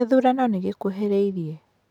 Gĩthurano nĩ gĩkuhĩrĩirie.